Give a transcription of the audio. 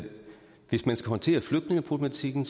hvis man skal håndtere flygtningepolitikken